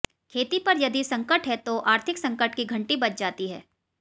खेती पर यदि संकट है तो आर्थिक संकट की घंटी बज जाती है